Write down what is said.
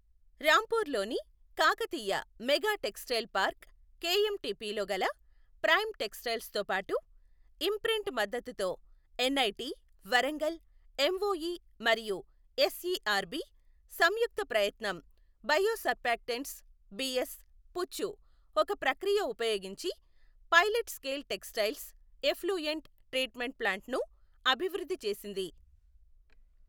రాంపూర్లోని Kakatiya mega textile park కెఎంటిపిలో గల prime టెక్స్టైల్స్తో పాటు ఇమ్ప్రింట్ మద్దతుతో ఎన్ఐటీ వరంగల్ ఎంఓఈ మరియు ఎస్ఈఆర్బి సంయుక్త ప్రయత్నం బయోసర్ఫ్యాక్టెంట్స్ బిఎస్, పుచ్చు ఒక ప్రక్రియ ఉపయోగించి pilot scale textile effluent treatment ప్లాంట్ను అభివృద్ధి చేసింది.